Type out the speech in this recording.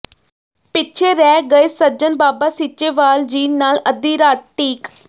ਪਿਛੇ ਰਹਿ ਗਏ ਸੱਜਣ ਬਾਬਾ ਸੀਚੇਵਾਲ ਜੀ ਨਾਲ ਅੱਧੀ ਰਾਤ ਤੀਕ